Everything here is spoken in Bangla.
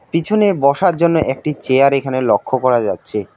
পিছনে বসার জন্য একটি চেয়ার এখানে লক্ষ করা যাচ্ছে।